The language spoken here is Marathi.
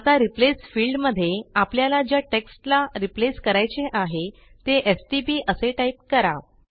आता रिप्लेस फिल्डमध्ये आपल्याला ज्या टेक्स्टला रिप्लेस करायचे आहे ते एसटीपी असे टाईप करा